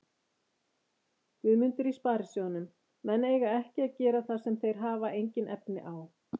Guðmundur í Sparisjóðnum: menn eiga ekki að gera það sem þeir hafa engin efni á.